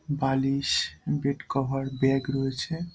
বালিশ bed cover bag রয়েছে।